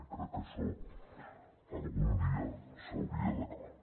i crec que això algun dia s’hauria d’acabar